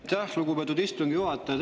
Aitäh, lugupeetud istungi juhataja!